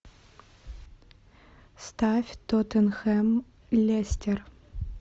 ставь тоттенхэм лестер